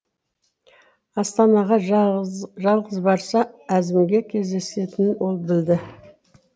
астанаға жалғыз барса әзімге кездесетінін ол білді